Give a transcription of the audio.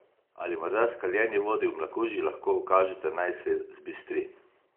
Ali morda skaljeni vodi v mlakuži lahko ukažete, naj se zbistri?